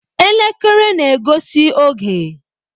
Elekere na-egosi oge.